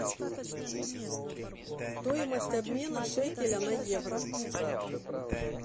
стоимость обмена шекеля на евро